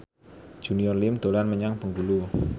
Junior Liem dolan menyang Bengkulu